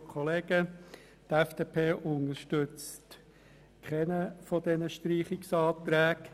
Die FDP unterstützt keinen dieser Streichungsanträge.